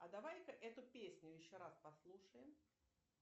а давай ка эту песню еще раз послушаем